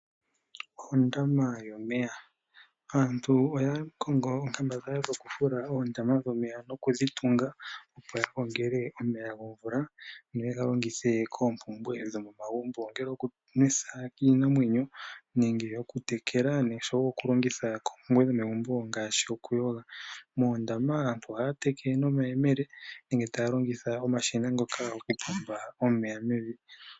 Ondama yomeya. Aantu oya kongo oonkambadhala dhokufula oondama dhomeya nokudhi tunga, opo ya gongele omeya gomvula, yo yega longithe koompumbwe dhomomagumbo ngaashi okunwetha iinawenyo, nenge okutekela iimeno, noshowo okulongitha koompumbwe dhomegumbo ngaashi okuyoga. Moondama ohaya teke mo nomayemele, nenge taya longitha omashina ngoka gokupomba omeya mevi.